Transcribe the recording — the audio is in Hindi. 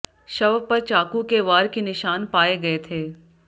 शव पर चाकू के वार के निशान पाए गए थे